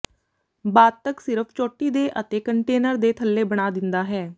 ਬਾਅਦ ਤੱਕ ਸਿਰਫ ਚੋਟੀ ਦੇ ਅਤੇ ਕੰਟੇਨਰ ਦੇ ਥੱਲੇ ਬਣਾ ਦਿੰਦਾ ਹੈ